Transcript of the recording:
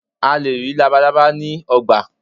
a lè rí labalábá ni igba